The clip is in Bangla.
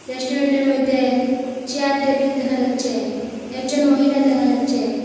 রেস্টুরেন্টের মইধ্যে চেয়ার টেবিল দেহা যাচ্ছে একজন মহিলা দেহা যাচ্ছেন।